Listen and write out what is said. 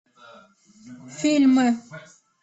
фильмы